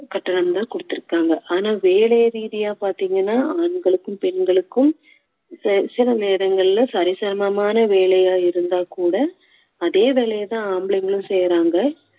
கட்டணம் தான் கொடுத்திருக்காங்க ஆனா வேலை ரீதியா பாத்தீங்கன்னா ஆண்களுக்கும் பெண்களுக்கும் செ~ சில நேரங்களில சரிசமமான வேலையா இருந்தா கூட அதே வேலையை தான் ஆம்பளைங்களும் செய்யுறாங்க